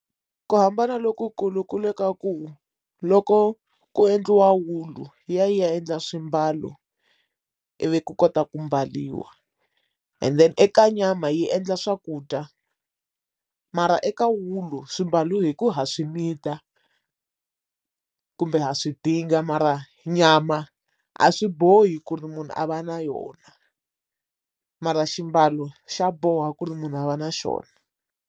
Ku hambana loku kulu kule ka ku loko ko endliwa wulu yi ya yi ya endla swimbalo ivi ku kota ku mbariwa and then eka nyama yi endla swakudya mara eka wulu swimbalo hi ku ha swi need-a kumbe ha swidinga mara nyama a swi bohi ku ri munhu a va na yona mara xiambalo xa boha ku ri munhu a va na xona.